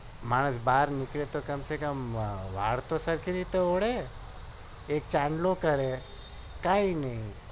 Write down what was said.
માણસ બાર નીકળે તો વાળ તો સરખી રીતે ઓળય એક ચાનલો કરે કઈ નહિ